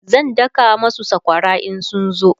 zan daka masu sakwara in sun zo